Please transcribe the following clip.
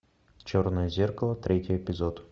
черное зеркало третий эпизод